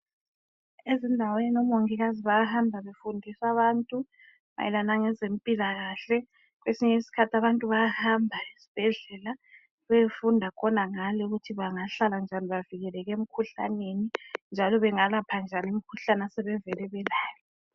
Ezindaweni oMongikazi bayahamba befundisa abantu mayelana ngezempilakahle kwesinye isikhathi abantu bayahamba ezibhedlela beyefunda khonangale ukuthi bangahlala njani bavikeleke emikhuhlaneni kumbe bengalapha njani imikhuhlane asebevele belayo.